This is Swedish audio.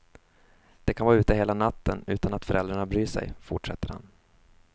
De kan vara ute hela natten utan att föräldrarna bryr sig, fortsätter han.